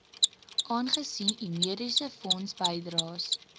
aangesien u mediesefondsbydraes